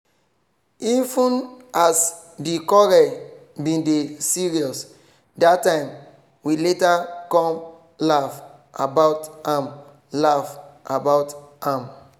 even as di quarrel bin dey serious dat time we later come laugh about am laugh about am